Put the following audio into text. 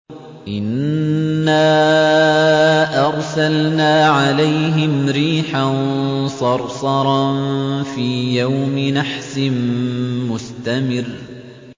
إِنَّا أَرْسَلْنَا عَلَيْهِمْ رِيحًا صَرْصَرًا فِي يَوْمِ نَحْسٍ مُّسْتَمِرٍّ